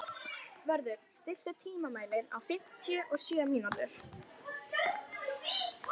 Vörður, stilltu tímamælinn á fimmtíu og sjö mínútur.